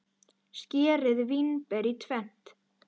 Skerið vínber í tvennt.